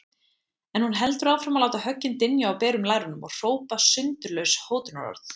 En hún heldur áfram að láta höggin dynja á berum lærunum og hrópa sundurlaus hótunarorð.